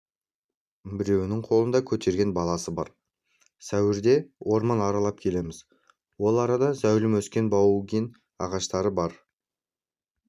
біреуінің қолында көтерген баласы бар сәуірде орман аралап келеміз ол арада зәулім өскен баугин ағаштары көп